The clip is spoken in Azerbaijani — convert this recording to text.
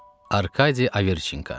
Arkadi Averçenka.